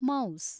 mouse